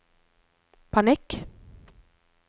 panikk